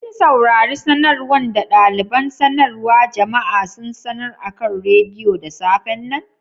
Kin saurare sanarwan da dalibain sanarwa jama'a sun sanar akan radiyo da safe'n nan?